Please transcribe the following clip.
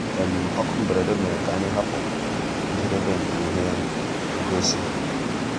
ókú mbérèdé mérè ká ànyị́ hàpụ́ njédébè nkè íhé ngósì. um